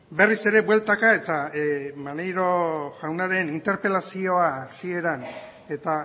berriz ere bueltaka eta maneiro jaunaren interpelazioa hasieran eta